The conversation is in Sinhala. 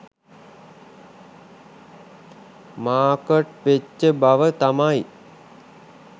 මාර්කට් වෙච්ච බව තමයි